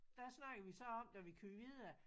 Der snakkede vi så om da vi kørte videre